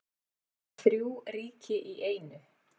Þrjú ríki í einu